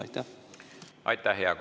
Aitäh, hea kolleeg!